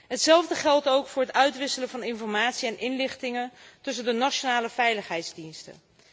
Hetzelfde geldt ook voor het uitwisselen van informatie en inlichtingen tussen de nationale veiligheidsdiensten.